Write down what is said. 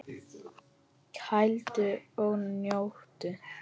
Kældu og njóttu!